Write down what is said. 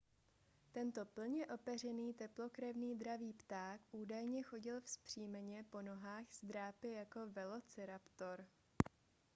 tento plně opeřený teplokrevný dravý pták údajně chodil vzpřímeně po dvou nohách s drápy jako velociraptor